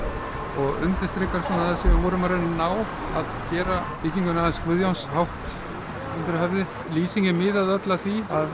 og undirstrikar það sem við vorum að reyna að ná að gera byggingunni hans Guðjóns hátt undir höfði lýsingin miðaði öll að því að